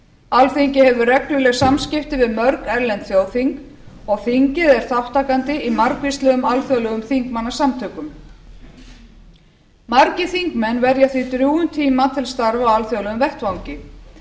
alþingi hefur regluleg samskipti við mörg erlend þjóðþing og þingið er þátttakandi í margvíslegum alþjóðlegum þingmannasamtökum margir þingmenn verja því drjúgum tíma til starfa á alþjóðlegum vettvangi